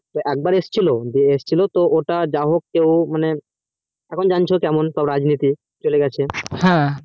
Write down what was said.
এক বার এসেছিলো যাহোক যেমন জানছো কেমন সব রাজনীতি চলে গেছে